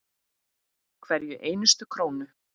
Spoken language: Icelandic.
Hverja einustu krónu.